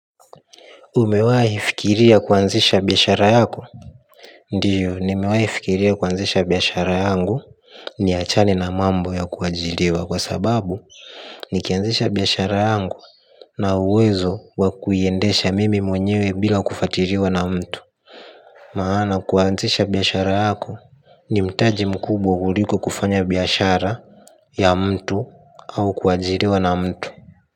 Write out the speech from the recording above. Umewahi fikiria kuanzisha biashara yako? Ndiyo, nimewahi fikiria kuanzisha biashara yangu. Niachane na mambo ya kuajiriwa kwa sababu nikianzisha biashara yangu na uwezo wa kuiendesha mimi mwenyewe bila kufuatiliwa na mtu. Maana kuanzisha biashara yako ni mtaji mkubwa kuliko kufanya biashara ya mtu au kuajiriwa na mtu.